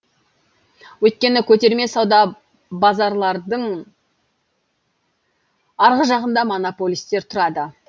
өйткені көтерме сауда базалардың арғы жағында монополистер тұрады